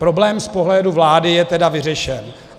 Problém z pohledu vlády je tedy vyřešen.